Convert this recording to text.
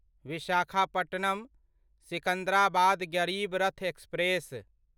Visakhapatnam Secunderabad Garib Rath express